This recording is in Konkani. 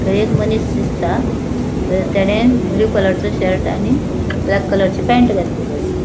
थय एक मनिस दिसता थंय तेणेन ब्लू कलरचो शर्ट आणि ब्लैक कलरची पैन्ट घातलेली आसा.